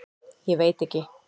Ég veit ekki.